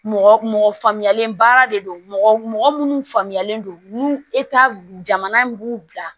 Mɔgɔ mɔgɔ faamuyalen baara de don mɔgɔ mɔgɔ munnu faamuyalen don jamana in b'u bila